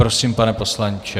Prosím, pane poslanče.